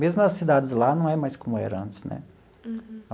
Mesmo as cidades lá não é mais como era antes, né? Uhum.